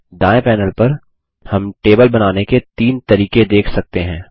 दायें पैनल पर हम टेबल बनाने के तीन तरीके देख सकते हैं